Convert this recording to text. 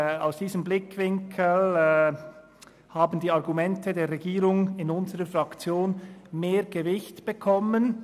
Aus diesem Grund haben die Argumente der Regierung in unserer Fraktion mehr Gewicht erhalten.